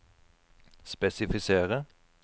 spesifisere